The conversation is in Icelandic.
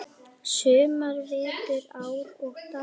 sumar, vetur, ár og daga.